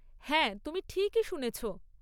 হ্যাঁ, তুমি ঠিকই শুনেছ।